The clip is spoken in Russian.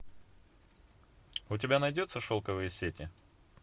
у тебя найдется шелковые сети